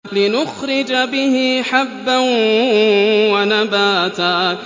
لِّنُخْرِجَ بِهِ حَبًّا وَنَبَاتًا